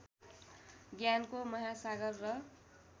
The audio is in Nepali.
ज्ञानको महासागर र